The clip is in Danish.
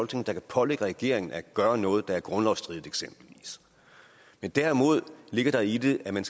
der kan pålægge regeringen at gøre noget der eksempelvis er grundlovsstridigt derimod ligger der i det at man